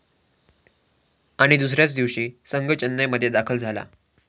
आणि दुसऱ्याच दिवशी संघ चेन्नईमध्ये दाखल झाला.